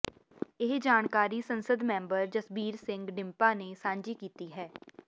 ਇਹ ਜਾਣਕਾਰੀ ਸੰਸਦ ਮੈਂਬਰ ਜਸਬੀਰ ਸਿੰਘ ਡਿੰਪਾ ਨੇ ਸਾਂਝੀ ਕੀਤੀ ਹੈ